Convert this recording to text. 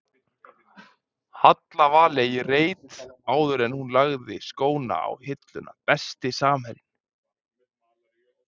Halla Valey í reit áður en hún lagði skóna á hilluna Besti samherjinn?